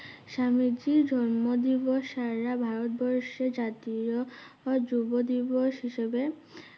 স্বামীজির জন্মদিবস সারা ভারতবর্ষে জাতীয় আ~যুবদিবস হিসাবে